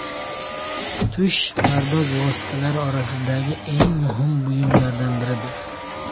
Tush pardoz vositalari orasidagi eng muhim buyumlardan biridir.